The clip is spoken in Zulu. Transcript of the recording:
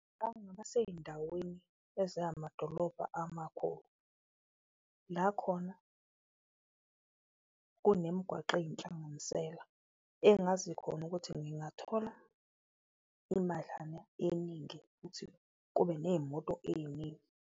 Ngake ngaba seyindaweni ezamadolobha amakhulu la khona kunemgwaqo eyinhlanganisela engazi khona ukuthi ngingathola imadlana eningi futhi kube neyimoto eyiningi.